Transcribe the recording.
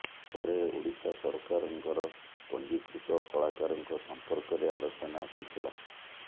ପରେ ଓଡ଼ିଶା ସରକାରଙ୍କର ପଞ୍ଜିକୃତ କଳାକାରଙ୍କ ସମ୍ପର୍କରେ ଆଲୋଚନା ହୋଇ ଥିଲା